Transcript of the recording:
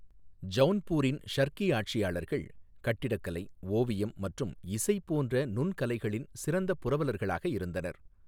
ஜௌன்பூரின் ஷர்கீ ஆட்சியாளர்கள் கட்டிடக்கலை, ஓவியம் மற்றும் இசை போன்ற நுண்கலைகளின் சிறந்த புரவலர்களாக இருந்தனர்.